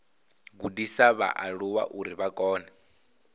gudisa vhaaluwa uri vha kone